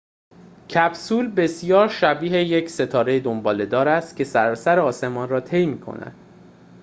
کپسول بسیار شبیه یک ستاره دنباله‌دار است که سراسر آسمان را طی می‌کند